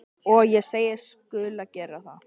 Og ég segist skulu gera það.